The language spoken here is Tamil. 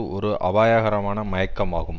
ஒரு அபாயகரமான மயக்கமாகும்